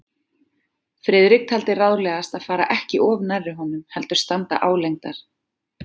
Friðrik taldi ráðlegast að fara ekki of nærri honum, heldur standa álengdar.